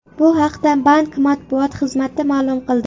Bu haqda bank matbuot xizmati ma’lum qildi .